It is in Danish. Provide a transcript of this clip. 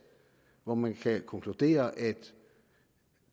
hvor man kan konkludere at